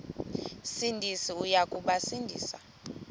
sindisi uya kubasindisa